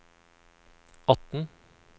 atten